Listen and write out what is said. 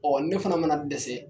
Ɔɔ ne fana mana dɛsɛ